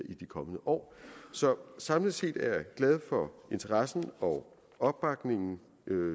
i de kommende år samlet set er jeg glad for interessen og opbakningen